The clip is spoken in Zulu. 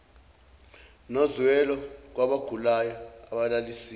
nozwelo kwabagulayo abalalisiwe